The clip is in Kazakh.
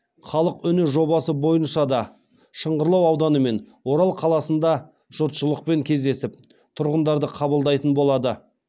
халық үні жобасы бойынша да шыңғырлау ауданы мен орал қаласында жұртшылықпен кездесіп тұрғындарды қабылдайтын болады